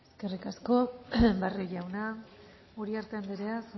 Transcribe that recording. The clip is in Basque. eskerrik asko barrio jauna uriarte anderea